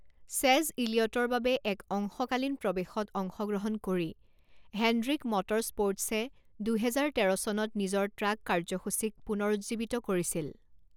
চেজ ইলিয়টৰ বাবে এক অংশকালীন প্ৰৱেশত অংশগ্ৰহণ কৰি হেণ্ড্ৰিক মটৰস্প'ৰ্টছে দুহেজাৰ তেৰ চনত নিজৰ ট্ৰাক কাৰ্য্যসূচীক পুনৰুজ্জীৱিত কৰিছিল।